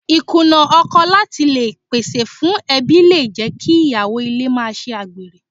Ì Kùnà ọkọ láti le pèsè fún ẹbí le jẹ́ kí Ìyàwó ilé máa ṣe àgbèrè.